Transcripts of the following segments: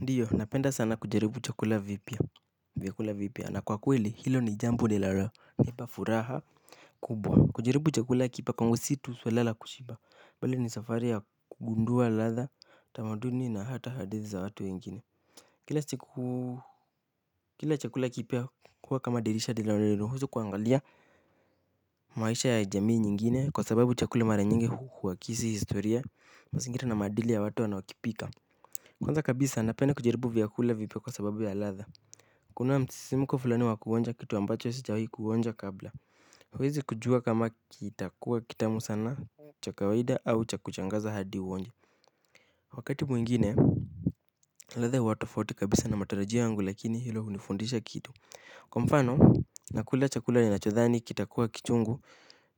Ndiyo, napenda sana kujaribu vyakula vipya, na kwa kweli hilo ni jambo linaloleta furaha kubwa. Kujaribu chakula kipya si suala la kushiba tu, bali ni safari ya kugundua ladha, tamaduni na hata hadithi za watu wengine. Kila chakula kipya kama dirisha linalonifungulia kuangalia maisha ya jamii nyingine, kwa sababu chakula mara nyingi huakisi historia, mazingira na maadili ya watu wanaokipika. Kwanza kabisa, napenda kujaribu vyakula vipya kwa sababu ya ladha. Kuna msisimko fulani wa kuonja kitu ambacho sijawahi kuonja kabla. Huwezi kujua kama kitakuwa kitamu sana, cha kawaida au cha kushangaza hadi uonje. Wakati mwingine ladha huwa tofauti kabisa na matarajio yangu, lakini hilo hunifundisha kitu. Kwa mfano, nakula chakula ninachodhani kitakuwa kichungu.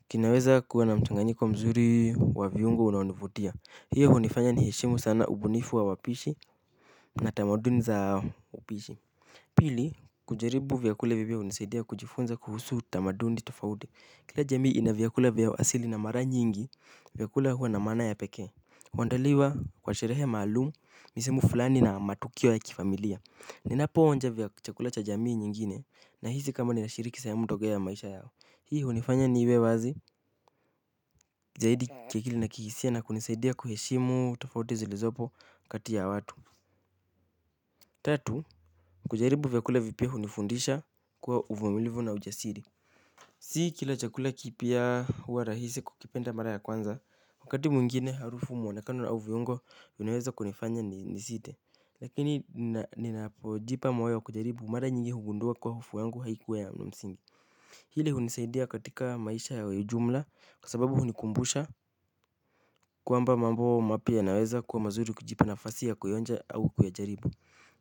Kinaweza kuwa na mchanganyiko mzuri wa viungo unaonivutia. Hiyo inanifanya niheshimu sana ubunifu wa wapishi. Na tamaduni za upishi pili, kujaribu vyakula vipya kunanisaidia kujifunza kuhusu tamaduni tofauti. Kila jamii ina vyakula vya asili na mara nyingi vyakula huwa na maana ya pekee. Huandaliwa kwa sherehe maalumu, misimu fulani na matukio ya kifamilia. Ninapoonja chakula cha jamii nyingine, nahisi ninashiriki sehemu ya maisha yao. Hii inanifanya niwe wazi. Zaidi, kuchekesha na kihisia, na kunisaidia kuheshimu tofauti zilizopo kati ya watu. Tatu, kujaribu vyakula vipya hunifundisha kuwa uvumilivu na ujasiri. Si kila chakula kipya huwa rahisi kukipenda mara ya kwanza. Wakati mwingine harufu, mwonekano na viungo vinaweza kunifanya nisite, lakini ninapojipa moyo kujaribu, mara nyingi hugundua kwamba hofu yangu haikuwa na msingi. Hili hunisaidia katika maisha ya ujumla kwa sababu hunikumbusha kwamba mambo mapya yanaweza kuwa mazuri unapojipa nafasi ya kuonja au kuyajaribu.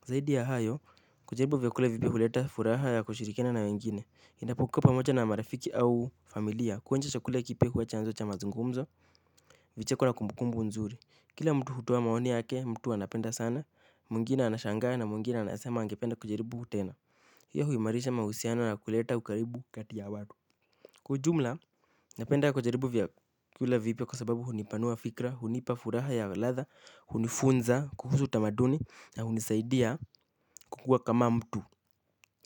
Zaidi ya hayo, kujaribu vyakula vipya huleta furaha ya kushirikiana na wengine. Unapokuwa pamoja na marafiki au familia, kuonja chakula kipya huwa chanzo cha mazungumzo inayokuwa na kumbukumbu nzuri. Kila mtu hutoa maoni yake, mtu anapenda sana, mwingine anashangaa, na mwingine anasema angependa kujaribu tena. Hii huimarisha mahusiano na kuleta ukaribu kati ya watu. Kwa ujumla, napenda kujaribu vyakula vipya kwa sababu hunipanua fikra, hunipa furaha ya ladha, hunifunza kuhusu tamaduni na hunisaidia kukua kama mtu.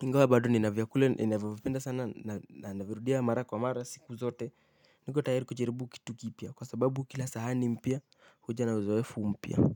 Ingawa bado nina vyakula ninavipenda sana, na ninavipenda sana na kuvirudia mara kwa mara siku zote. Niko tayari kujaribu kitu kipya kwa sababu kila sahani mpya huja na uzoefu mpya.